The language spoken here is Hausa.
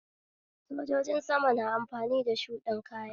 Sojojin sama na amfani da shuɗin kaya